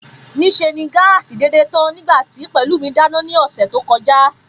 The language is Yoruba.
Nís̩e ni gáàsì dédè tán nígbà tí Pè̩lúmi dáná ní ò̩sè̩ tó ko̩já